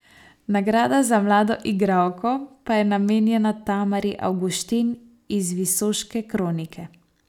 Nagrada za mlado igralko pa je namenjena Tamari Avguštin iz Visoške kronike.